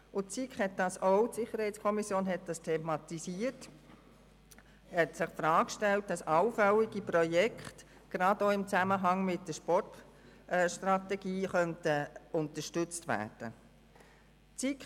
Die SiK hat dies thematisiert und die Frage gestellt, ob allfällige Projekte gerade auch im Zusammenhang mit der Sportstrategie unterstützt werden könnten.